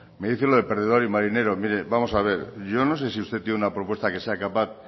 me dice lo de perdedor y marinero mire vamos a ver yo no sé si usted tiene una propuesta que sea capaz